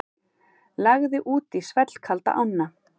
Lagði út í svellkalda ána